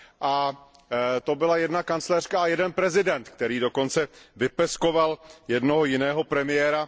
A to byla jedna kancléřka a jeden prezident, který dokonce vypeskoval jednoho jiného premiéra.